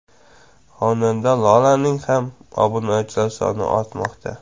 Xonanda Lolaning ham obunachilari soni ortmoqda.